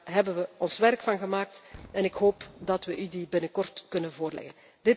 Daar hebben wij werk van gemaakt en ik hoop dat wij u deze binnenkort kunnen voorleggen.